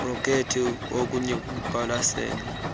projekthi okuya kuqwalaselwa